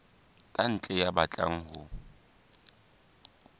ka ntle ya batlang ho